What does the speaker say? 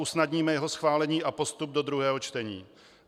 Usnadníme jeho schválení a postup do druhého čtení.